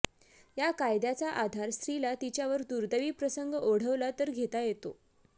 या कायद्याचा आधार स्त्रीला तिच्यावर दुर्दैवी प्रसंग ओढवला तर घेता येतो